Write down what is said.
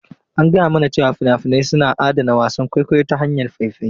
An gaya mana cewa fina-finai suna adana wasan kwaikwayo ta hanyar faifai.